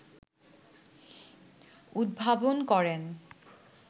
উদ্ভাবন করেন